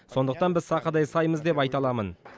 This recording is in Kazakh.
сондықтан біз сақадай саймыз деп айта аламын